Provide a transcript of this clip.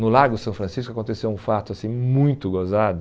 No Lago São Francisco aconteceu um fato assim muito gozado.